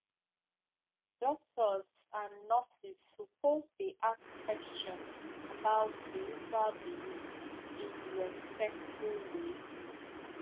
doctors and nurses suppose dey ask questions about spiritual belief in respectful way